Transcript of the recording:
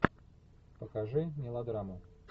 покажи мелодраму